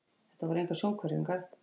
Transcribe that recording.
Þetta voru engar sjónhverfingar.